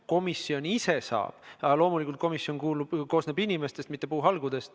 Komisjon ise saab, aga loomulikult koosneb komisjon ju inimestest, mitte puuhalgudest.